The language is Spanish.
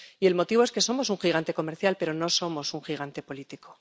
Y el motivo es que somos un gigante comercial pero no somos un gigante político.